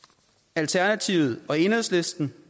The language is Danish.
alternativet og enhedslisten